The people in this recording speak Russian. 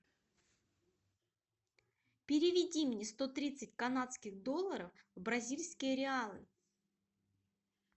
переведи мне сто тридцать канадских долларов в бразильские реалы